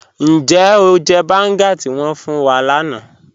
Níjẹ́ o jẹ́ bángá tí wọn fún wà láńà?